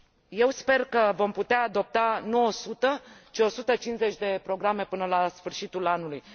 Eu sper că vom putea adopta nu 100, ci 150 de programe până la sfârșitul anului.